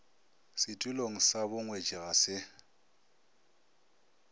setulong sa bongwetši ga se